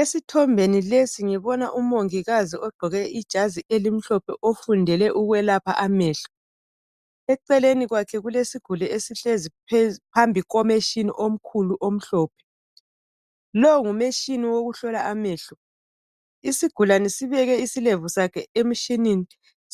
Esithombeni lesi ngibona umongikazi ogqoke ijazi elimhlophe ofundele ukwelapha amehlo, eceleni kwakhe kulesiguli esihlezi phambi kwemachine omkhulu omhlophe. Lowu ngumachine wokuhlola amehlo isigulane sibeke isilevu sakhe emshineni